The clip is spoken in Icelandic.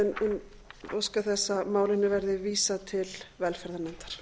en óska þess að málinu verði vísað til velferðarnefndar